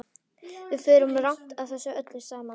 Við förum rangt að þessu öllu saman.